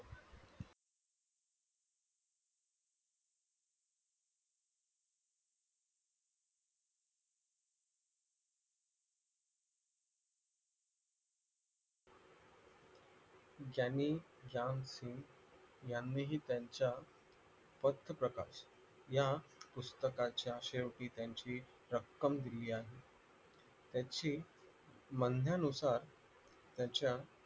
ज्यांनी यांनीही त्यांच्या मध्यप्रकाश या पुस्तकांच्या शेवटी त्यांची रक्कम दिली आहे त्याची म्हणण्यानुसार त्याच्या